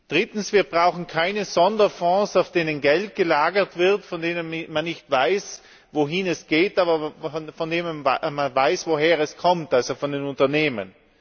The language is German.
Drittens Wir brauchen keine Sonderfonds, auf denen Geld gelagert wird, von denen man nicht weiß, wohin es geht, von denen man aber weiß, woher es kommt also, von den Unternehmen.